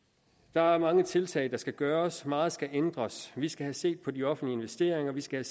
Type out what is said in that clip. der er mange tiltag der skal gøres og meget skal ændres vi skal have set på de offentlige investeringer vi skal